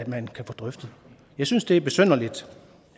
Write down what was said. man kan få drøftet jeg synes det er besynderligt